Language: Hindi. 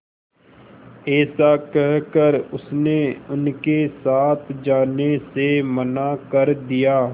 ऐसा कहकर उसने उनके साथ जाने से मना कर दिया